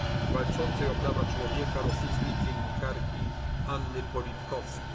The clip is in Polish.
rocznicy śmierci walczącej o prawa człowieka rosyjskiej dziennikarki Anny